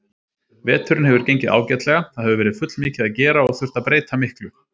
Veturinn hefur gengið ágætlega, það hefur verið fullmikið að gera og þurft að breyta miklu.